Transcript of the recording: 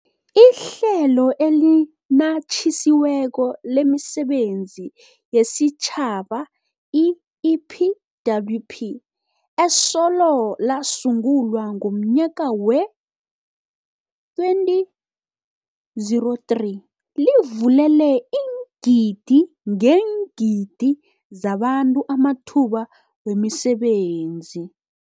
IHlelo eliNatjisiweko lemiSebenzi yesiTjhaba, i-EPWP, esolo lasungulwa ngomnyaka wee-2003, livulele iingidi ngeengidi zabantu amathuba wemisebenzi.